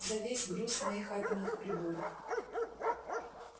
за весь груз моих атомных приборов